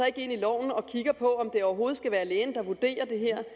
ikke ind i loven og kigger på om det overhovedet skal være lægen der vurderer det her